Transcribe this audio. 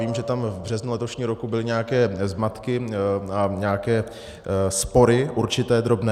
Vím, že tam v březnu letošního roku byly nějaké zmatky a nějaké spory, určité, drobné.